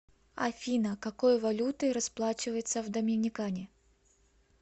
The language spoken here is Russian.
афина какой валютой расплачиваются в доминикане